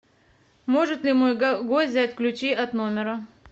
может ли мой гость взять ключи от номера